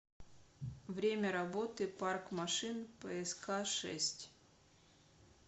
время работы парк машин пск шесть